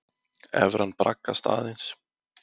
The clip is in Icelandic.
Evran braggast aðeins